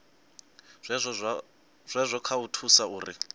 zwazwo kha u thusa uri